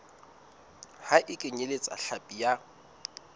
ha e kenyeletse hlapi ya